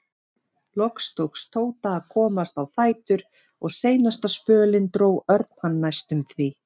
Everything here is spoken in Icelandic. Loks tókst Tóta að komast á fætur og seinasta spölinn dró Örn hann næstum því.